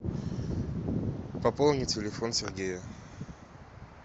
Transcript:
пополни телефон сергея